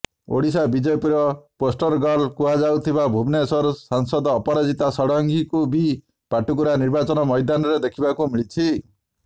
ଓଡ଼ିଶା ବିଜେପିର ପୋଷ୍ଟରଗର୍ଲ କୁହାଯାଉଥିବା ଭୁବନେଶ୍ୱର ସାଂସଦ ଅପରାଜିତା ଷଡ଼ଙ୍ଗୀଙ୍କୁ ବି ପାଟକୁରା ନିର୍ବାଚନ ମଇଦାନରେ ଦେଖିବାକୁ ମିଳିଛି